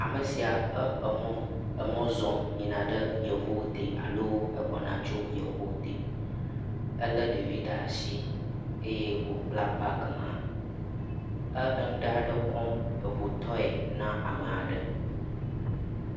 Ame sia e emɔ zɔm yina ɖe yevuwo de alo gbɔna tso yevuwo de. Elé ɖevi ɖe asi eye wokpla bagi hã. Ee nu aɖe kɔm ŋutɔ ne ame aɖe.